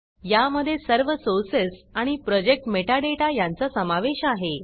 यामधे सर्व सोर्सेस आणि प्रोजेक्ट मेटाडाटा यांचा समावेश आहे